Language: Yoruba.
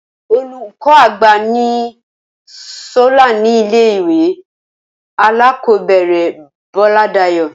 Olùkó àgbà ni Solá ní ilé ìwé alákòóbèrè Bóládayò